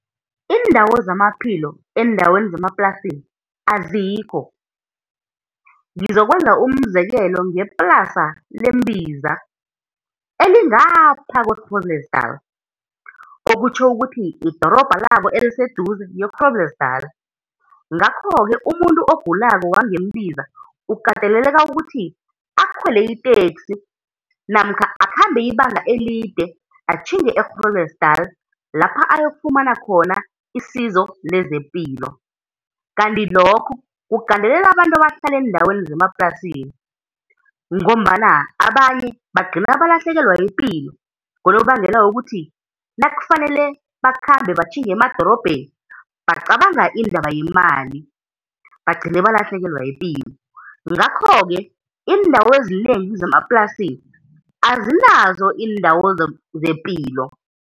Iindawo zamaphilo eendaweni zemaplasini azikho, ngizokwenza umzekelo ngeplasa leMbiza, elingaphaya kwe-Groblersdal, okutjho ukuthi idorobha labo eliseduze yi-Groblersdal. Ngakho-ke umuntu ogulako wangeMbiza, ukateleleka ukuthi akhwele iteksi, namkha akhambe ibanga elide, atjhinge e-Groblersdal lapha ayokufumana khona isizo lezepilo. kanti lokho kugandelela abantu abahlala eendaweni zemaplasini, ngombana abanye bagcina balahlekelwa yipilo ngonobangela wokuthi nakufanele bakhmbe batjhinge emadorobheni bacabanga indaba yemali bagcine balahlekelwa yipilo. Ngakho-ke iindawo ezinengi zemaplasini azinazo iindawo zepilo.